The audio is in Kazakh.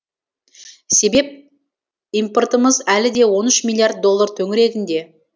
себеп импортымыз әлі де он үш миллиард доллар төңірегінде